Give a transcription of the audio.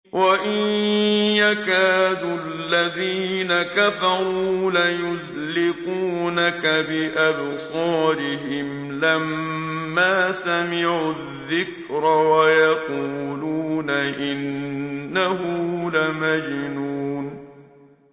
وَإِن يَكَادُ الَّذِينَ كَفَرُوا لَيُزْلِقُونَكَ بِأَبْصَارِهِمْ لَمَّا سَمِعُوا الذِّكْرَ وَيَقُولُونَ إِنَّهُ لَمَجْنُونٌ